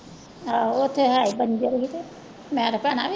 ਹਾਂ ਉੱਥੇ ਹੈ ਹੀ ਬੰਜਰ ਵੀ ਤੇ ਮੈਂ ਤਾਂ ਭੈਣਾ